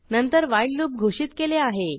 नंतर while loop घोषित केले आहे